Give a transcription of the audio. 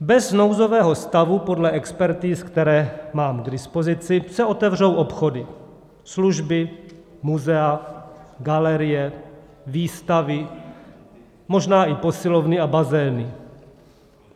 Bez nouzového stavu, podle expertiz, které mám k dispozici, se otevřou obchody, služby, muzea, galerie, výstavy, možná i posilovny a bazény.